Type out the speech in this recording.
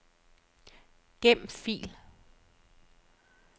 Gem fil.